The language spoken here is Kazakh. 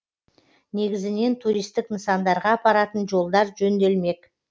негізінен туристік нысандарға апаратын жолдар жөнделмек